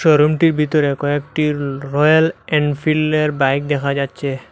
রুমটির ভিতরে কয়েকটি র-রয়াল এনফিল্ডের বাইক দেখা যাচ্ছে।